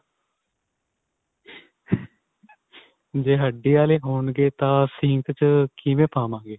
ਜੇ ਹੱਡੀ ਵਾਲੀ ਹੋਣਗੇ ਤਾਂ ਸੀਂਖ ਚ ਕਿਵੇਂ ਪਾਵਾਂਗੇ.